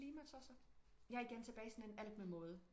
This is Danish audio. Klimatosser jeg er igen tilbage i sådan en alt med måde